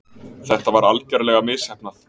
Þetta var algerlega misheppnað.